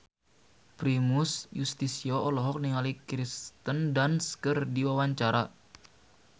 Primus Yustisio olohok ningali Kirsten Dunst keur diwawancara